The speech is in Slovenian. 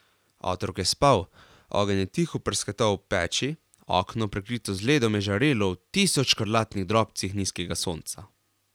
Otrok je spal, ogenj je tiho prasketal v peči, okno, prekrito z ledom, je žarelo v tisoč škrlatnih drobcih nizkega sonca.